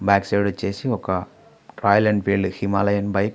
back side వచ్చేసి ఒక Royal Enfield Himalayan bike--